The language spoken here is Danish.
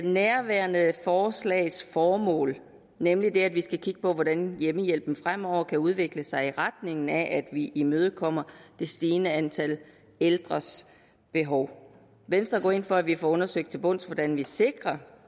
nærværende forslags formål nemlig at vi skal kigge på hvordan hjemmehjælpen fremover kan udvikle sig i retning af at vi imødekommer det stigende antal ældres behov venstre går ind for at vi får undersøgt til bunds hvordan vi sikrer